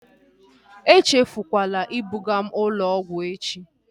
Echefukwala ibuga m ụlọ ọgwụ echi!